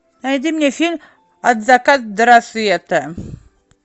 найди мне фильм от заката до рассвета